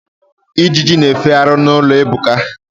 Ijiji na-efegharị n'ụlọ Ebuka.